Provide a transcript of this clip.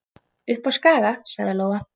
Upp á Skaga, sagði Lóa.